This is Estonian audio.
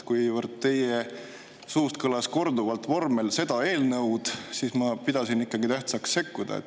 Kuivõrd teie suust kõlas korduvalt vormel "seda eelnõud", siis ma pidasin ikkagi tähtsaks sekkuda.